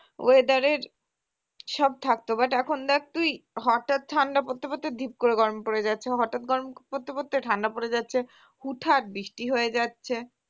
weather র সব থাকতো but এখন দেখ তুই, হঠাৎ ঠান্ডা পরতে পরতে ঢিপ করে গরম পড়ে যাচ্ছে হঠাৎ গরম পড়তে পড়তে ঠান্ডা পরে যাচ্ছে, হুটহাট বৃষ্টি হয়ে যাচ্ছে